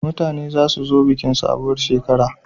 Mutane za su zo bikin sabuwar shekara